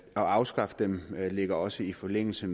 afskaffe dem ligger også i forlængelse